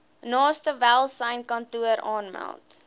naaste welsynskantoor aanmeld